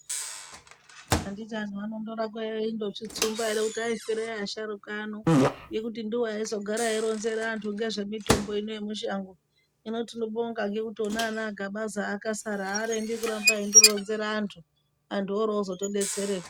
Anditi anhu anondoramba eindozvitsumba ere kuti aifirei asharuka ano ngekuti ndiwo aizogara eironzera antu ngezvemitombo ineyi yemushango , hino tinobonga ngekuti ona anana Agabaza akasara arembi kuramba eindoronzerwa antu , antu orozotodeysereka.